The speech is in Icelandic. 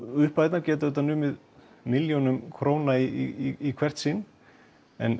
upphæðirnar geta numið milljónum króna í hvert sinn en